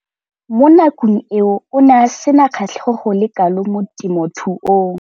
Mo nakong eo o ne a sena kgatlhego go le kalo mo temothuong.